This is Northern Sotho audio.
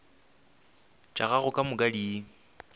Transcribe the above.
tša gago ka moka di